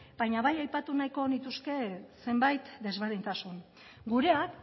baina bai aipatu nahiko nituzke zenbait desberdintasun gureak